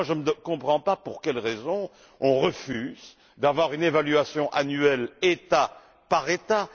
Enfin, je ne comprends pas pour quelle raison on refuse d'avoir une évaluation annuelle État par État.